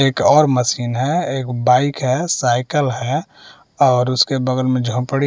एक और मशीन है एक बाइक है साइकिल है और उसके बगल में झोंपड़ी --